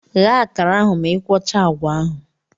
Ghe akara ahụ ma ị ikwocha agwa ahụ!